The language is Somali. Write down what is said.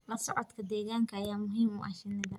La socodka deegaanka ayaa muhiim u ah shinnida